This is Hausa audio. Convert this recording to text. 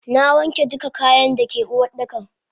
Nawanke duka kayan dake Uwardakan.